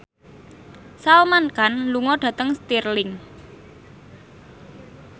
Salman Khan lunga dhateng Stirling